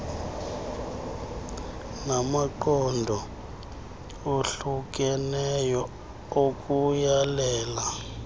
namaqondo ohlukeneyo okuyalela